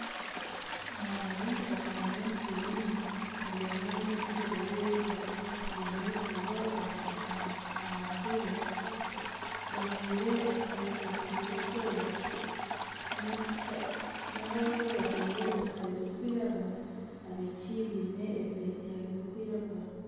Abaana baingi bashutami omu kibiina buri omwe aine entebe yeye baine ebitabo aha ntebe ,bajwaire esaati zirikwera nana aboojo bajwaire empare zirikwiragura ,abishiki biine ebiteteeya birikwiragura